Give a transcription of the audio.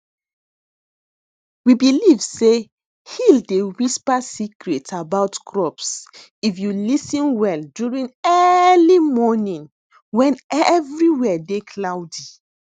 we believe say hill dey whisper secret about crops if you lis ten well during early morning wen everywhere dey cloudy